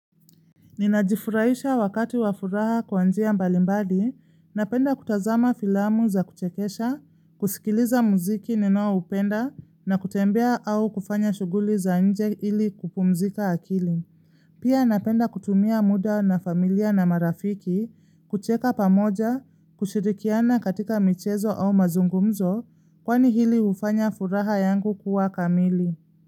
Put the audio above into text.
Ninajifuraisha wakati wafuraha kwanjia mbalimbadi, napenda kutazama filamu za kuchekesha, kusikiliza muziki ninoa upenda na kutembea au kufanya shuguli za nje ili kupumzika akili. Pia napenda kutumia muda na familia na marafiki, kucheka pamoja, kushirikiana katika michezo au mazungumzo, kwani hili ufanya furaha yangu kuwa kamili.